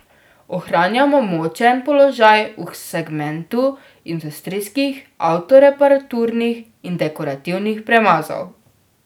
Ohranjamo močen položaj v segmentu industrijskih, avtoreparaturnih in dekorativnih premazov.